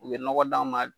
U bɛ nɔgɔ d'anw ma